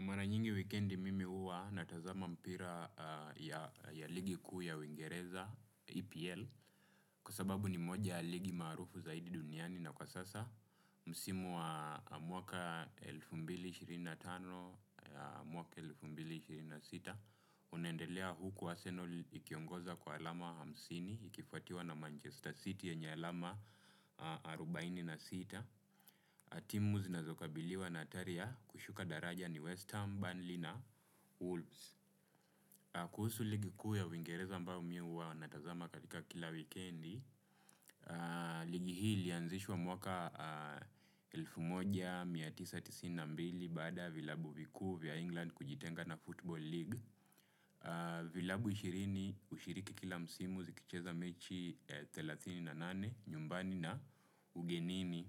Maranyingi wikendi mimi huwa na tazama mpira ligi ya uingereza epl kwa sababu ni moja ya ligi marufu zaidi duniani na kwa sasa msimu wa mwaka elfu mbili ishirini na tano ya mwaka elfu mbili ishirini na sita unaendelea huku Arsenal ikiongoza kwa alama hamsini ikifatiwa na Manchester City yenye alama arubaini na sita timu zinazokabili wa na hatari ya kushuka daraja ni West Ham, Burnley na Wolves. Kuhusu ligikuu ya uingereza ambayo mi huwa natazama katika kila wikendi. Ligi hii ilianzishwa mwaka elfu moja mia tisa tisini na mbili baada ya vilabu vikuu vya England kujitenga na Football League. Vilabu ishirini hushiriki kila msimu zikicheza mechi thelatini na nane nyumbani na ugenini.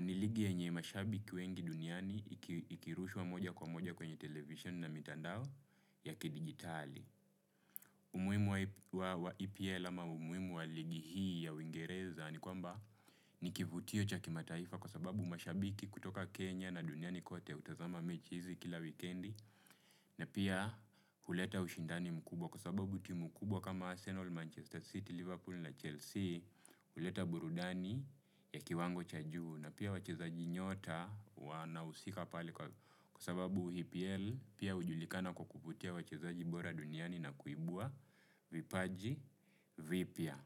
Ni ligi yenye mashabiki wengi duniani ikirushwa moja kwa moja kwenye televisheni na mitandao ya kidijitali umuhimu wa EPL ama umuhimu wa ligi hii ya uingereza ni kwamba nikivutio cha kimataifa kwa sababu mashabiki kutoka Kenya na duniani kote hutazama mechi hizi kila wikendi na pia huleta ushindani mkubwa kwa sababu timu kubwa kama Arsenal, Manchester City, Liverpool na Chelsea huleta burudani ya kiwango cha juu na pia wachezaji nyota wanahusika pale kwa kwa sababu EPL pia hujulikana kwa kuvutia wachezaji bora duniani na kuibua vipaji vipya.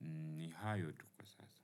Ni hayo tu kwa sasa.